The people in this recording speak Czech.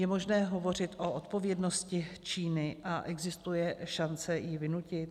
Je možné hovořit o odpovědnosti Číny a existuje šance ji vynutit?